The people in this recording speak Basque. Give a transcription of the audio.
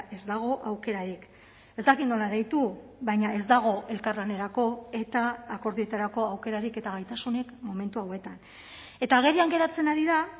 ez dago aukerarik ez dakit nola deitu baina ez dago elkarlanerako eta akordioetarako aukerarik eta gaitasunik momentu hauetan eta agerian geratzen ari da